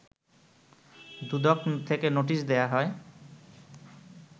দুদক থেকে নোটিশ দেয়া হয়